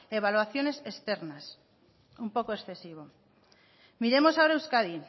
evaluaciones externas un poco excesivo miremos ahora euskadi